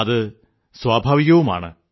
അത് സ്വാഭാവികവുമാണ്